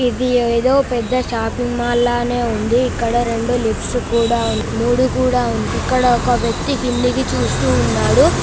ఇది ఎదో పెద్ద షాపింగ్ మాల్ లానే ఉంది ఇక్కడ రెండు లిఫ్త్స్ కూడా ఉన్నాయి మూడు కూడా ఉన్నాయి ఇక్కడ ఒక వ్యక్తీ కిందకి చూస్తున్నాడు --